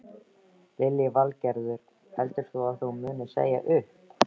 Lillý Valgerður: Heldur þú að þú munir segja upp?